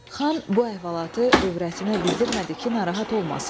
Xan bu əhvalatı övrətinə bildirmədi ki, narahat olmasın.